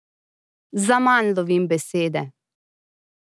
Zaman lovim besede.